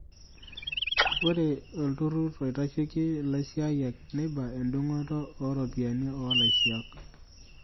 Ore olturrur oitasheki laisiyiak neiba endungoto oo ropiyiani oolaisiak.